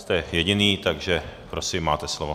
Jste jediný, takže prosím, máte slovo.